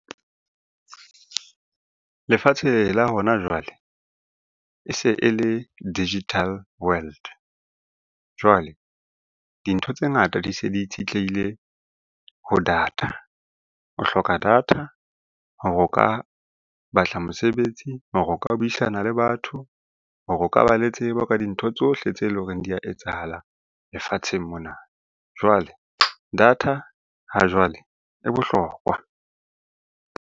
Lefatsheng la hona jwale e se e le digital world. Jwale dintho tse ngata di se di itshitlehile ho data. O hloka data hore o ka batla mosebetsi, hore o ka buisana le batho, hore o ka ba le tsebo ka dintho tsohle tse leng hore di a etsahalang lefatsheng mona. Jwale data ha jwale e bohlokwa.